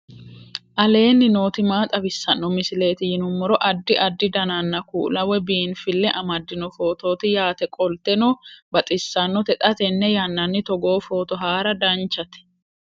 aleenni nooti maa xawisanno misileeti yinummoro addi addi dananna kuula woy biinfille amaddino footooti yaate qoltenno baxissannote xa tenne yannanni togoo footo haara danchate